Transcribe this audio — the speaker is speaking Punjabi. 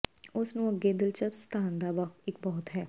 ਉਸ ਨੂੰ ਅੱਗੇ ਦਿਲਚਸਪ ਸਥਾਨ ਦਾ ਇੱਕ ਬਹੁਤ ਹੈ